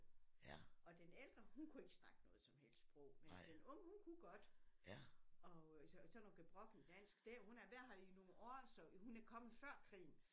Og den ældre hun kunne ikke snakke noget som helst sprog men den unge hun kunne godt og så sådan noget gebrokkent dansk det hun havde været her nogle år hun er kommet før krigen